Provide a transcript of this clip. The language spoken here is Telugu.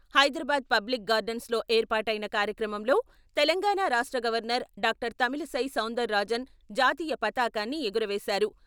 హైదరాబాద్ పబ్లిక్ గార్డెన్స్ లో ఏర్పాటైన కార్యక్రమంలో తెలంగాణా రాష్ట్ర గవర్నర్ డా.తమిళిసై సౌందర్ రాజన్ జాతీయ పతాకాన్ని ఎగురవేశారు.